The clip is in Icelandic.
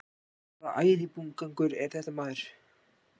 Hvaða æðibunugangur er þetta maður?